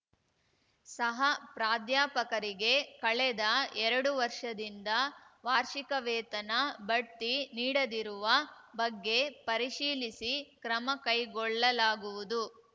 ಸಹ ಪ್ರಾಧ್ಯಾಪಕರಿಗೆ ಕಳೆದ ಎರಡು ವರ್ಷದಿಂದ ವಾರ್ಷಿಕ ವೇತನ ಬಡ್ತಿ ನೀಡದಿರುವ ಬಗ್ಗೆ ಪರಿಶೀಲಿಸಿ ಕ್ರಮ ಕೈಗೊಳ್ಳಲಾಗುವುದು